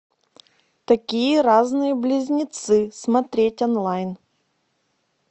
такие разные близнецы смотреть онлайн